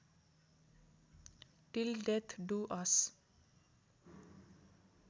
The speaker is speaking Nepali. till death do us